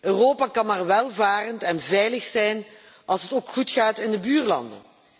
Europa kan maar welvarend en veilig zijn als het ook goed gaat in de buurlanden.